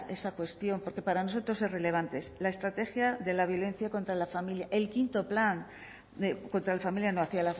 esa cuestión porque para nosotros es relevante la estrategia de la violencia contra la familia contra la familia no hacia